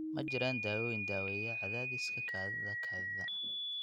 Ma jiraan daawooyin daaweeya cadaadiska kaadida kaadida.